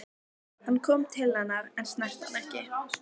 Hann kom til hennar en snerti hana ekki.